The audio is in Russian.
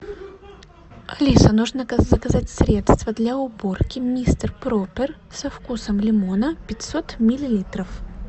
алиса нужно заказать средство для уборки мистер проппер со вкусом лимона пятьсот миллилитров